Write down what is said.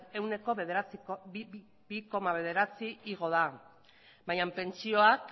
ehuneko bi koma bederatzi igo da baina pentsioak